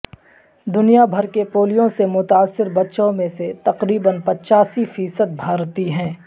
دنیا بھر کے پولیو سے متاثرہ بچوں میں سے تقریبا پچاسی فیصد بھارتی ہیں